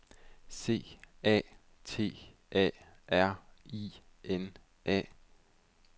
C A T A R I N A